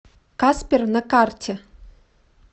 каспер на карте